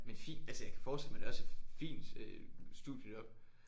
Men fin altså jeg kan forestille mig det også er fint øh studiejob